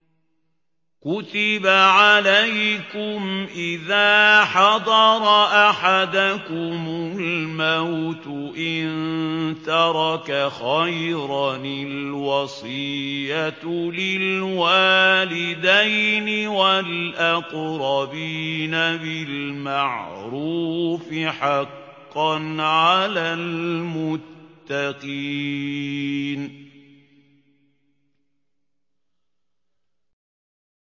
كُتِبَ عَلَيْكُمْ إِذَا حَضَرَ أَحَدَكُمُ الْمَوْتُ إِن تَرَكَ خَيْرًا الْوَصِيَّةُ لِلْوَالِدَيْنِ وَالْأَقْرَبِينَ بِالْمَعْرُوفِ ۖ حَقًّا عَلَى الْمُتَّقِينَ